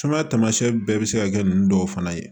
Sumaya tamasiɲɛ bɛɛ bɛ se ka kɛ ninnu dɔw fana ye